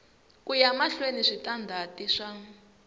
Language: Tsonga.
ku ya mahlweni switandati swa